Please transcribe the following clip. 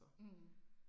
Mh